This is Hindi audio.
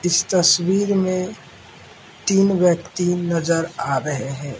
इस तस्वीर में तीन व्यक्ति नजर आ रहे हैं।